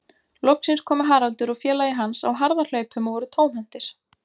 Loksins komu Haraldur og félagi hans á harðahlaupum og voru tómhentir.